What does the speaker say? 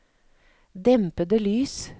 dempede lys